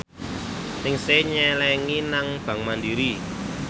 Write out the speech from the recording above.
Ningsih nyelengi nang bank mandiri